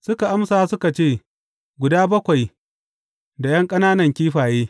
Suka amsa suka ce, Guda bakwai da ’yan ƙananan kifaye.